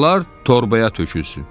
Arılar torbaya tökülsün.